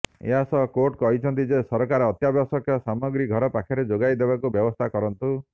ଏହାସହ କୋର୍ଟ କହିଛନ୍ତି ଯେ ସରକାର ଅତ୍ୟାବଶ୍ୟକ ସାମଗ୍ରୀ ଘର ପାଖରେ ଯୋଗାଇ ଦେବାର ବ୍ୟବସ୍ଥା କରନ୍ତୁ